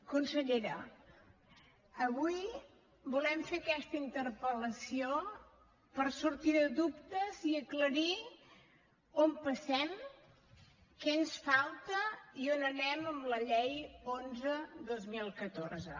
consellera avui volem fer aquesta interpel·lació per sortir de dubtes i aclarir on passem què ens falta i on anem amb la llei onze dos mil catorze